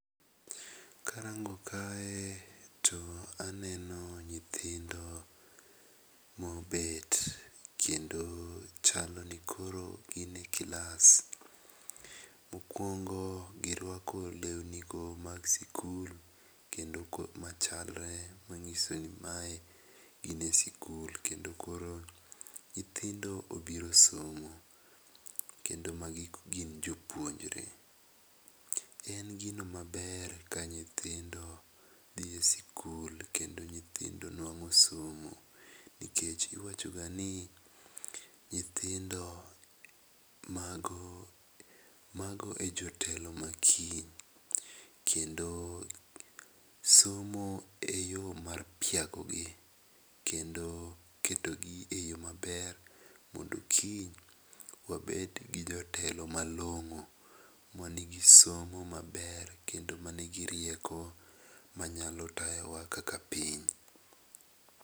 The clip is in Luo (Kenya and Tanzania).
Ka arango kae to aneno nyithindo mo obet kendo chalo ni koro gi e klas. Mokuongo gi rwako lewni go mag skul ma chalre ma ng'iso ni mae gin e skul kendo koro nyithindo obiro somo kendo ma gi gin jopuonjre. En gino ma ber ka nyithindo dhi skul kendo nyithindo nwango somo nikech iwacho ga ni nyithindo ma go mago jotelo ma kiny kendo somo e yo mar piago gi kendo keto gi e yo ma ber mondo kiny wabed gi jotelo ma longo, ma ni gi somo maber kendo ma ni gi rieko ma nyalo tayo wa kaka piny.